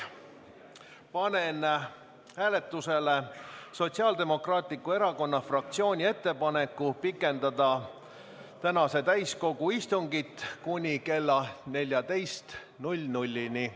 Panen hääletusele Sotsiaaldemokraatliku Erakonna fraktsiooni ettepaneku pikendada tänast täiskogu istungit kella 14-ni.